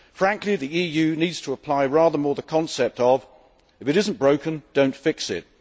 Frankly, the EU needs to apply rather more the concept of if it isn't broken, don't fix it'.